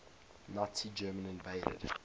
nazi germany invaded